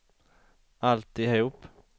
alltihop